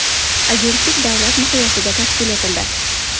Agentlik davlat miqyosida tashkil etildi.